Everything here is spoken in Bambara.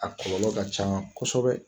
A kɔlɔlɔ ka can kosɛbɛ